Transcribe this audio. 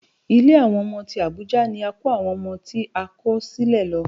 Ilé àwọn ọmọ tí Àbújá ni a kó àwọn ọmọ tí a kò sílẹ̀ lọ